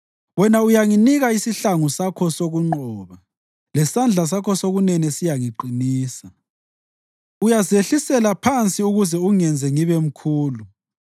Wena uyanginika isihlangu sakho sokunqoba, lesandla sakho sokunene siyangiqinisa; uyazehlisela phansi ukuze ungenze ngibe mkhulu.